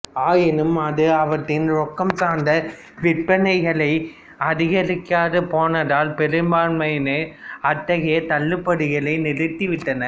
ஆயினும் அது அவற்றின் ரொக்கம் சார்ந்த விற்பனைகளை அதிகரிக்காது போனதால் பெரும்பான்மையானவை அத்தகைய தள்ளுபடிகளை நிறுத்தி விட்டன